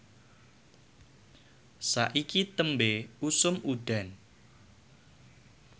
saiki tembe usum udan